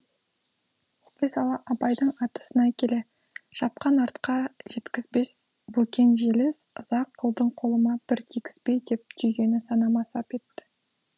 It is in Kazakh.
оқи сала абайдың атты сынай келе шапқан атқа жеткізбес бөкен желіс ыза қылдың қолыма бір тигізбей деп түйгені санама сап етті